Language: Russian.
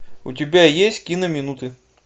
у тебя есть кино минуты